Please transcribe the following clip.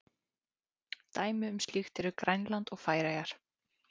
Dæmi um slíkt eru Grænland og Færeyjar.